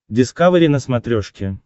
дискавери на смотрешке